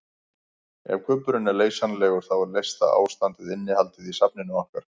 Ef kubburinn er leysanlegur þá er leysta ástandið innihaldið í safninu okkar.